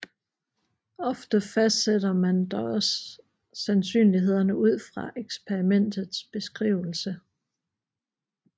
Ofte fastsætter man dog også sandsynlighederne ud fra eksperimentets beskrivelse